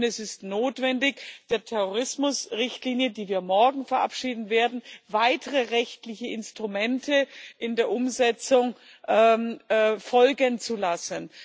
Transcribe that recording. Es ist notwendig, der Terrorismusrichtlinie, die wir morgen verabschieden werden, weitere rechtliche Instrumente in der Umsetzung folgen zu lassen.